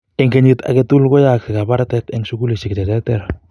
en kenyit aketukul koyoskse kabartaet en sukulisiek cheterter